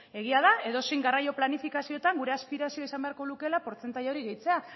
egia da edozein garraio planifikaziotan gure aspirazioa izan beharko lukeela portzentaje hori gehitzea